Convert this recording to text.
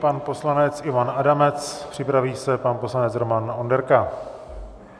Pan poslanec Ivan Adamec, připraví se pan poslanec Roman Onderka.